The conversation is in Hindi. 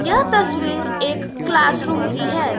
यह तस्वीर एक क्लास रूम की है।